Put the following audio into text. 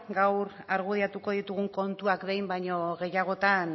gaur argudiatuko ditugun kontuak behin baino gehiagotan